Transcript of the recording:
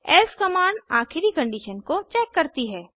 else command आखिरी condition को check करती है